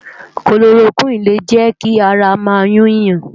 Kólórókwini lé jè ki àrá má yún yán